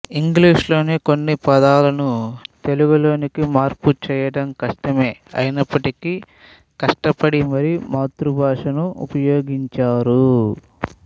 ఇంగ్లీషులోని కొన్నిపదాలను తెలుగులోకి మార్పు చేయడం కష్టమే అయినప్పటికీ కష్టపడి మరీ మాతృభాషను ఉపయోగించారు